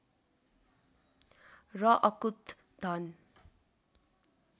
र अकूत धन